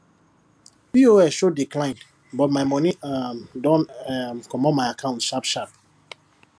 pos show declined but my money um don um comot my account sharp sharp